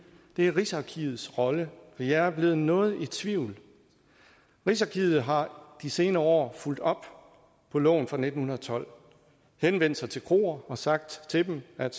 er rigsarkivets rolle hvor jeg er blevet noget i tvivl rigsarkivet har de senere år fulgt op på loven fra nitten tolv henvendt sig til kroer og sagt til dem at